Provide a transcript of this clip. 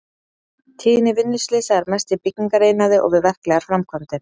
Tíðni vinnuslysa er mest í byggingariðnaði og við verklegar framkvæmdir.